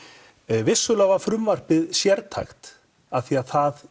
vissulega var frumvarpið sértækt því það